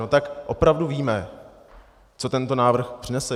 No tak opravdu víme, co tento návrh přinese?